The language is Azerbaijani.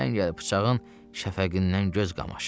Çəngəl bıçağın şəfəqindən göz qamaşır.